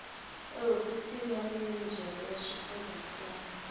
ehofisini ya minijere wa xifundzantsongo